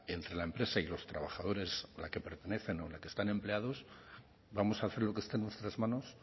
entre la empresa y los trabajadores a la que pertenecen o en la que están empleados vamos a hacer lo que esté en nuestras manos